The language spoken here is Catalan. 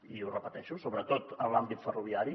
i ho repeteixo sobretot en l’àmbit ferroviari